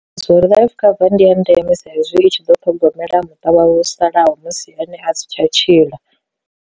Zwo uri life cover ndi ya ndeme sa izwi i tshi ḓo ṱhogomela muṱa wa wo salaho musi ene a si tsha tshila.